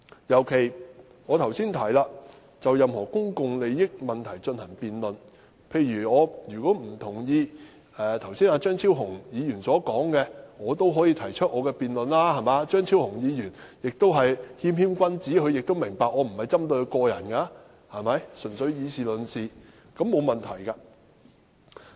尤其是我剛才提到，我們可就任何公共利益問題進行辯論，例如我不同意張超雄議員剛才的發言，我可以提出我的論點，張超雄議員是謙謙君子，明白我不是針對他個人，純粹以事論事，這並無問題。